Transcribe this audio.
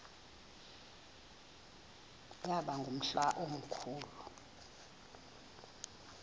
yaba ngumhla omkhulu